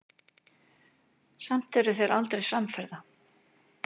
Samt eru þeir aldrei samferða.